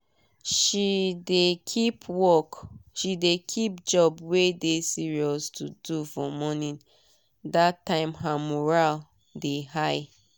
she dey keep job wey dey serious to do for morning dat time her mural dey high